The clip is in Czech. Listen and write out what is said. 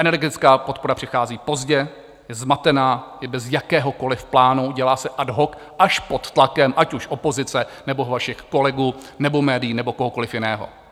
Energetická podpora přichází pozdě, je zmatená i bez jakéhokoliv plánu, dělá se ad hoc až pod tlakem, ať už opozice, nebo vašich kolegů nebo médií nebo kohokoliv jiného.